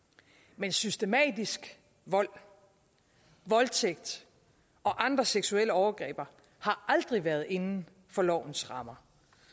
men systematisk vold voldtægt og andre seksuelle overgreb har aldrig været inden for lovens rammer